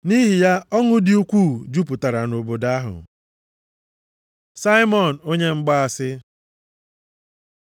Nʼihi ya, ọṅụ dị ukwuu jupụtara nʼobodo ahụ. Saimọn onye mgbaasị